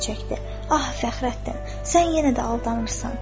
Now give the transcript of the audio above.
"Ah, Fəxrəddin, sən yenə də aldanırsan.